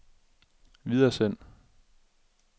videresend